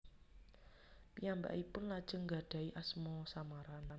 Piyambakipun lajeng nggadahi asma samaran